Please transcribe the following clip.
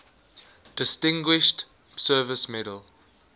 distinguished service medal